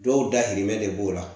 Dɔw dahirimɛ de b'o la